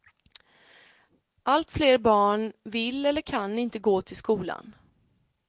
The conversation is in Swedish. Allt fler barn vill eller kan inte gå till skolan.